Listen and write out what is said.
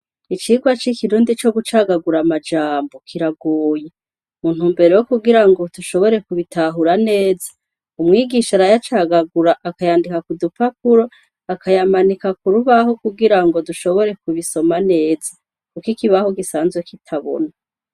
Icirwa c'ikirundi co gucagagura amajambo ,kiraguye muntu mbere wo kugira ngo tushobore kubitahura neza umwigisha rayacagagura akayandika ku dupakuro akayamanika kurubaho kugira ngo dushobore kubisoma neza ,kuko ikibaho gisanzwe kitabona.